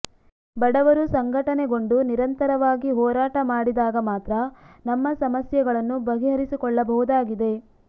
ಬಡವರು ಸಂಘಟನೆಗೊಂಡು ನಿರಂತರವಾಗಿ ಹೋರಾಟ ಮಾಡಿದಾಗ ಮಾತ್ರ ನಮ್ಮ ಸಮಸ್ಯೆಗಳನ್ನು ಬಗೆಹರಿಸಿಕೊಳ್ಳಬಹುದಾಗಿದೆ